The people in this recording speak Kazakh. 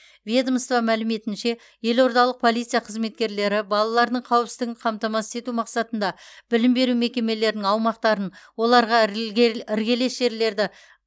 ведомство мәліметінше елордалық полиция қызметкерлері балалардың қауіпсіздігін қамтамасыз ету мақсатында білім беру мекемелерінің аумақтарын оларға іргелес жерлерді